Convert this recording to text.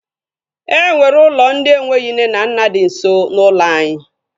E nwere ụlọ ndị enweghị nne na nna di nso n'ụlọ anyị